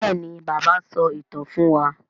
béèni bàbá so ìtàn fún wá.